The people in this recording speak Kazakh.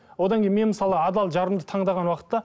одан кейін мен мысалы адал жарымды таңдаған уақытта